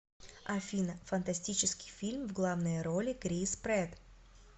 афина фантастический фильм в главной роли крис прэтт